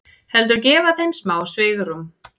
Heldur gefa þeim smá svigrúm.